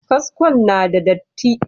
Kaskon na da datti.